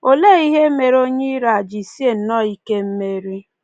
Olee ihe mere onye iro a ji sie nnọọ ike mmeri?